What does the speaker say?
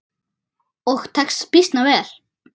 Og tekst býsna vel.